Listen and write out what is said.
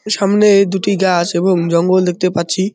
সামনে দুটি গাছ এবং জঙ্গল দেখতে পাচ্ছি।